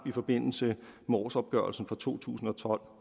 i forbindelse med årsopgørelsen for to tusind og tolv